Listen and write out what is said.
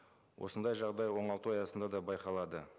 осындай жағдай оңалту аясында да байқалады